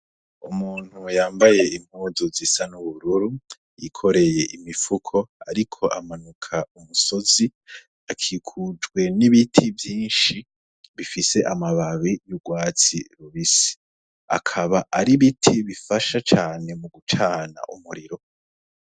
Umuntu yambaye impuzu zisa n'ubururu yikoreye imifuko ariko amanuka umusozi , akikujwe n'ibiti vyinshi bifise amababi y'urwatsi rubisi . Akaba ar'ibiti bifasha cane mu gucana umuriro .